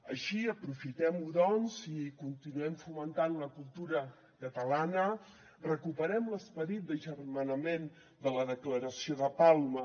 així aprofitem ho doncs i continuem fomentant la cultura catalana recuperem l’esperit d’agermanament de la declaració de palma